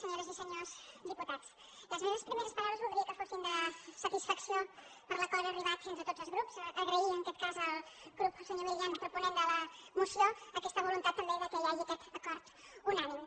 senyores i senyors diputats les meves primeres paraules voldria que fossin de satisfacció per l’acord a què s’ha arribat entre tots els grups agrair en aquest cas al senyor milián proponent de la moció aquesta voluntat també que hi hagi aquest acord unànime